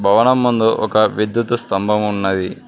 భవనం ముందు ఒక వ్యక్తి స్తంభం ఉన్నది.